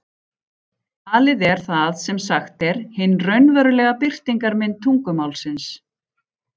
Talið er það sem sagt er, hin raunverulega birtingarmynd tungumálsins.